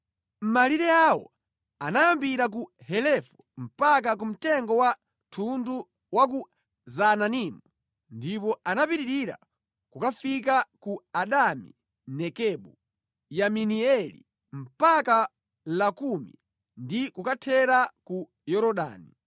Malire awo anayambira ku Helefu mpaka ku mtengo wa thundu wa ku Zaananimu, ndipo anapitirira nʼkukafika ku Adami Nekebu, Yabineeli mpaka ku Lakumi ndi kukathera ku Yorodani.